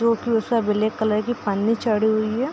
जो की उसे ब्लैक कलर की पन्नी चढ़ी हुई है।